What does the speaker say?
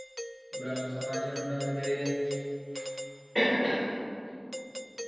ബ്രഹ്മസമാജം കൊണ്ടുവന്നത്